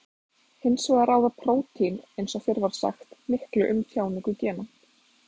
Hins vegar ráða prótín eins og fyrr var sagt miklu um tjáningu gena.